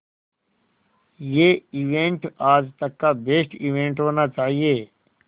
ये इवेंट आज तक का बेस्ट इवेंट होना चाहिए